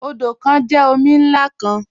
Odo kan jẹ omi nlá kan.